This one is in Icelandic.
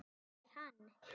Er hann.